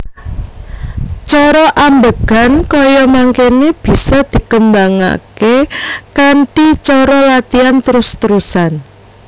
Cara ambegan kaya mangkene bisa dikembangake kanthi cara latian trus trusan